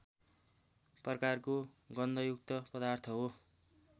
प्रकारको गन्धयुक्त पदार्थ हो